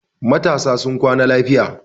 Matasa sun kwana lafiya.